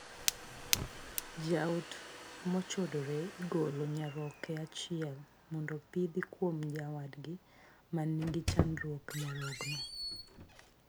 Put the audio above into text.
Jaot mochodore igolo nyaroke achiel mondo pidhi kuom nyawadgi man kod chandruog nyarogno.